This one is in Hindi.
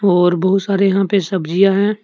और बहुत सारे यहां पे सब्जियां है।